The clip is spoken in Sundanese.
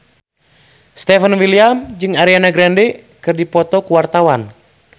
Stefan William jeung Ariana Grande keur dipoto ku wartawan